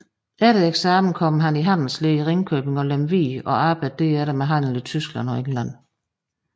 Efter eksamen kom han i handelslære i Ringkøbing og Lemvig og arbejdede derefter ved handel i Tyskland og England